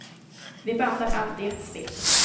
Vi bandar allt i ett svep.